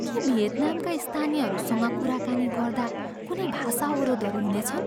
के भियतनामका स्थानीयहरूसँग कुराकानी गर्दा कुनै भाषा अवरोधहरू हुनेछन्?